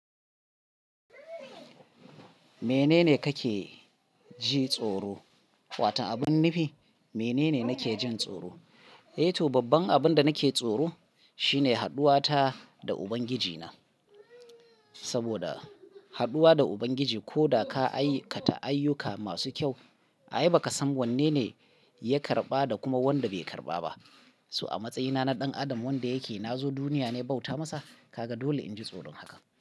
Menene kake ji tsoro? Wato abun nufi, menene nake jin tsoro? Eh to babban abin da nake tsoro shine hadduwata da Ubangijina. Saboda haduwa da Ubangiji ko da ka aikata ayyuka masu kyau, ai ba ka san wanne ne ya karɓa da kuma wanda bai karɓa ba. So a matsayina na ɗan adam wanda yake nazo duniya ne bauta masa, ka ga dole in ji tsoron haka.